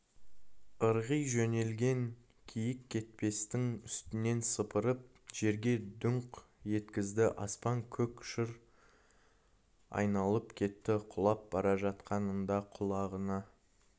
ырғи жөнелген киіккетпестің үстінен сыпырып жерге дүңк еткізді аспан-көк шыр айналып кетті құлап бара жатқанында құлағына